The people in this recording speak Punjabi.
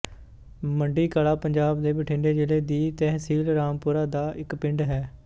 ਮੰਡੀ ਕਲਾਂ ਪੰਜਾਬ ਦੇ ਬਠਿੰਡੇ ਜ਼ਿਲ੍ਹੇ ਦੀ ਤਹਿਸੀਲ ਰਾਮਪੁਰਾ ਦਾ ਇੱਕ ਪਿੰਡ ਹੈ